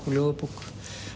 og ljóðabók